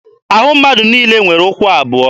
Ahụ mmadụ niile nwere ụkwụ abụọ